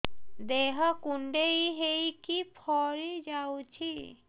ଦେହ କୁଣ୍ଡେଇ ହେଇକି ଫଳି ଯାଉଛି